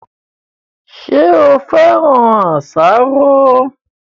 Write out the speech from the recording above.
Ṣé o féràn àsáró